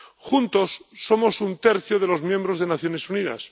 Juntos somos un tercio de los miembros de las Naciones Unidas.